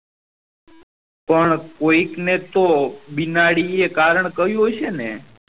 પણ કોયિક ને તો બીનાડી એ કારણ કહ્યું હશે ને